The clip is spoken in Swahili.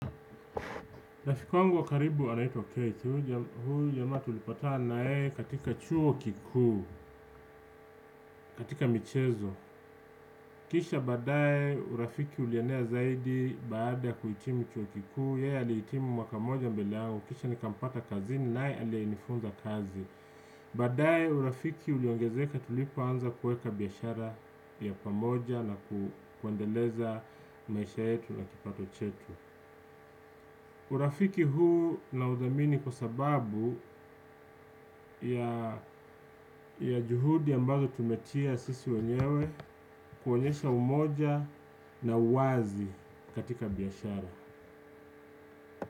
Rafiki wangu wa karibu anaitwa Kate, huyu jamaa tulipata na yeye katika chuo kikuu, katika michezo. Kisha baadaye urafiki ulienea zaidi baada ya kuhitimu chuo kikuu, yeye alihitimu mwaka moja mbele yangu, kisha nikampata kazini naye aliyenifunza kazi. Baadaye urafiki uliongezeka tulipoanza kueka biashara ya pamoja na kuendeleza maisha yetu na kipato chetu. Urafiki huu naudhamini kwa sababu ya juhudi ambazo tumetia sisi wenyewe kuonyesha umoja na uwazi katika biashara.